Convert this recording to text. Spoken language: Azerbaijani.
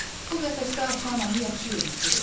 O qəfəsdə ata-anamı yaxşı yedizdirir.